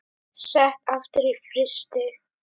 Sett aftur í frysti.